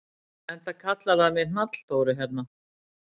Enda kallar það mig Hnallþóru hérna.